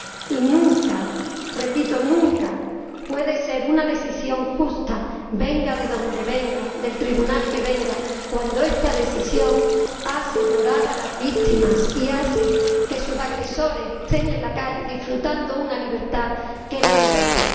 Y nunca —repito, nunca— puede ser una decisión justa, venga de donde venga, del tribunal que venga, cuando esta decisión hace llorar a las víctimas y hace que sus agresores estén en la calle disfrutando una libertad que no merecen.